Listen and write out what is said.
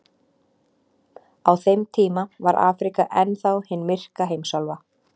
Á þeim tíma var Afríka enn þá hin myrka heimsálfa.